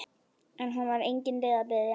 En honum var engin leið að biðja.